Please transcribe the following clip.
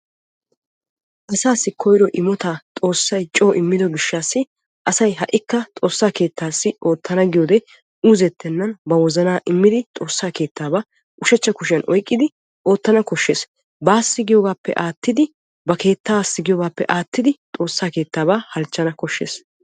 asassi koyro immotaa xoossay co immidio gishshshassi asay ha'ikka xoossa keettassi oottana giyoode uuzzetennan xoossaa keettaba ushachcha kushiyan oyqqidi oottan koshshees. bassi giyoogappe ba keettassi giyoogappe aattidi xoossa keettaba halchchana koshshees.